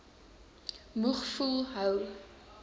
moeg voel hou